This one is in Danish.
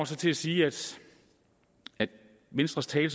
så til at sige at venstres tale i